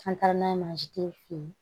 An taara n'a ye mansi tɛ fin